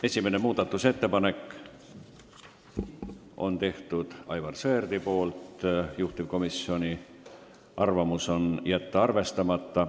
Esimese muudatusettepaneku on teinud Aivar Sõerd, juhtivkomisjoni ettepanek on jätta see arvestamata.